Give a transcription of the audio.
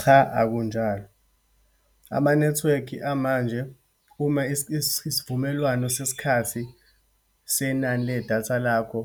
Cha akunjalo, amanethiwekhi amanje uma isivumelwano sesikhathi senani ledatha lakho